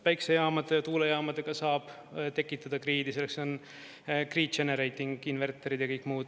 Päiksejaamadega, tuulejaamadega saab tekitada grid'i, selleks on grid generating inverter'id ja kõik muud.